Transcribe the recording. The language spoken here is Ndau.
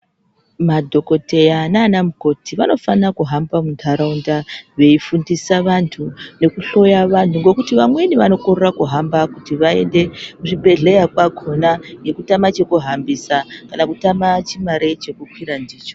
Madhokoteya naana mukoti vanofana kuhamba muntaraunda veifundisa vantu nekuhloya vanhu. Ngokuti vamweni vanokorera kuhamba kuti vaende kuzvibhedhleya kwakona ngekutama chekuhambisa kana kutama chimare chekukwira ndicho.